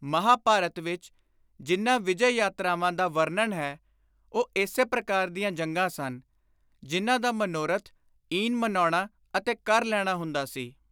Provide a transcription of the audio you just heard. ਮਹਾਂਭਾਰਤ ਵਿਚ ਜਿਨ੍ਹਾਂ ਵਿਜੇ-ਯਾਤਰਾਵਾਂ ਦਾ ਵਰਣਨ ਹੈ ਉਹ ਇਸੇ ਪ੍ਰਕਾਰ ਦੀਆਂ ਜੰਗਾਂ ਸਨ, ਜਿਨ੍ਹਾਂ ਦਾ ਮਨੋਰਥ ਈਨ ਮਨਾਉਣਾ ਅਤੇ ਕਰ ਲੈਣਾ ਹੁੰਦਾ ਸੀ।